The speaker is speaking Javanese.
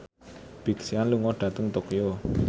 Big Sean lunga dhateng Tokyo